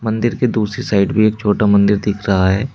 मंदिर के दूसरी साइड भी एक छोटा मंदिर दिख रहा है।